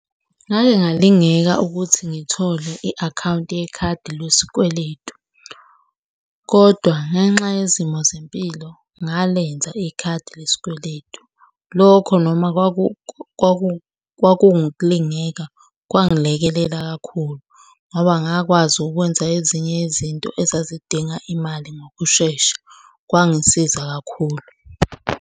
Ngake ngalingeka ukuthi ngithole i-akhawunti yekhadi lesikweletu, kodwa ngenxa yezimo zempilo ngalenza ikhadi lesikweletu. Lokho noma kwakuwukulingeka kwangilekelela kakhulu ngoba angakwazi ukwenza ezinye izinto ezazidinga imali ngokushesha. Kwangisiza kakhulu.